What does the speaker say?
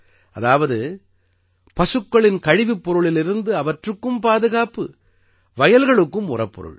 அதாவது பசுக்களின் கழிவுப்பொருளிலிருந்து அவற்றுக்கும் பாதுகாப்பு வயல்களுக்கும் உரப்பொருள்